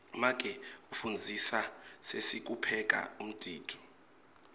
make ufundzisa sesi kupheka umdiduo